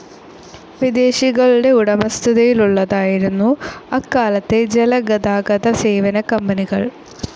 വിദേശികളുടെ ഉടമസ്ഥതയിലുള്ളതായിരുന്നു അക്കാലത്തെ ജലഗതാഗത സേവന കമ്പനികൾ.